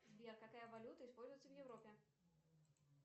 сбер какая валюта используется в европе